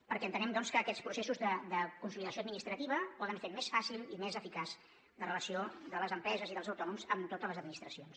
perquè entenem doncs que aquests processos de consolidació administrativa poden fer més fàcil i més eficaç la relació de les empreses i dels autònoms amb totes les administracions